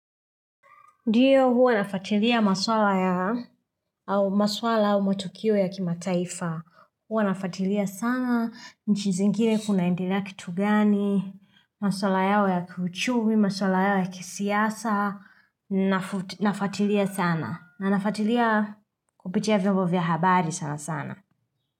Ndiyo hua nafuatiliia maswala ya, au maswala au matukio ya kimataifa. Huwa nafutilia sana, nchi zingine kunaendelea kitu gani, maswala yao ya kiuchumi, maswala yao ya kisiasa, nafuatilia sana. Na nafuatilia kupitia vimbo vya habari sana sana.